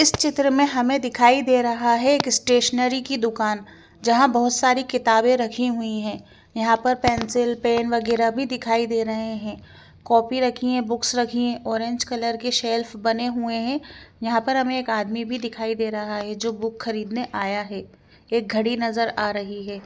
इस चित्र में हमे दिखाई दे रहा है एक स्टेजनरी की दूकान जहा बहुत सारी किताबे रखी हुई है यहा पर पेंसिल पेन वगेरा भी दिखाई दे रहे है कॉपी रखी है बुक्स रखी है ओरेंज कलर की सेल्फ बने हुए है यहा पर हमें एक आदमी भी दिखाई दे रहा है जो बुक खरीदने आया है एक गडी नज़र आ रही है।